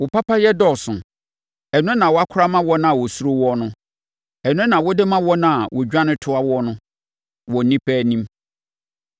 Wo papayɛ dɔɔso, ɛno na woakora ama wɔn a wɔsuro woɔ no; ɛno na wode ma wɔn a wɔdwane toa woɔ no wɔ nnipa anim.